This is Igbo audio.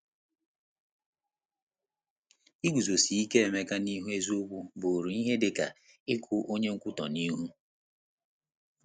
Iguzosi ike Emeka n’eziokwu bụụrụ ihe dị ka ịkụ onye nkwutọ n’ihu!